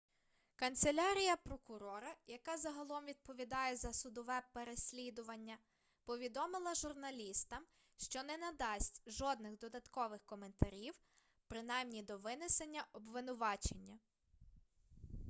канцелярія прокурора яка загалом відповідає за судове переслідування повідомила журналістам що не надасть жодних додаткових коментарів принаймні до винесення обвинувачення